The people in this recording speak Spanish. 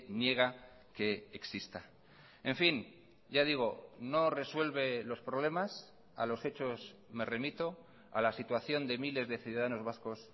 niega que exista en fin ya digo no resuelve los problemas a los hechos me remito a la situación de miles de ciudadanos vascos